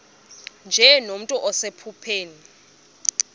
nje nomntu osephupheni